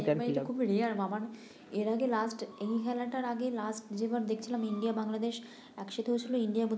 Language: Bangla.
এটা তো খুব মামা এর আগে এই খেলাটার আগে যেবার দেখছিলাম ইন্ডিয়া বাংলাদেশ একসাথে হয়েছিল ইন্ডিয়া